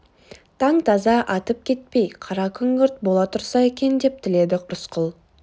таң таза атып кетпей қара күңгірт бола тұрса екен деп тіледі рысқұл